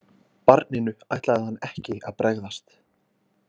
Barninu ætlaði hann ekki að bregðast.